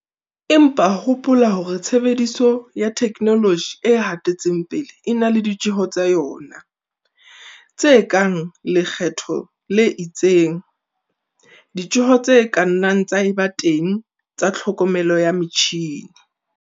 Empa hoopla hore tshebediso ya theknoloji e hatetseng pele e na le ditjeho tsa yona, tse kang lekgetho le itseng, ditjeho tse ka nnang tsa eba teng tsa tlhokomelo ya metjhine.